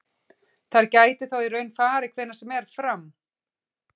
Þær gætu þá í raun farið hvenær sem er fram.